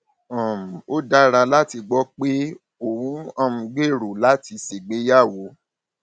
um ó dára láti gbọ pé ò um ń gbèrò láti ṣègbéyàwó